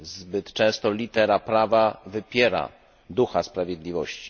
Zbyt często litera prawa wypiera ducha sprawiedliwości.